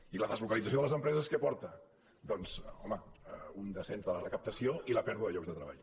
i la deslocalització de les empreses a què porta doncs home a un descens de la recaptació i a la pèrdua de llocs de treball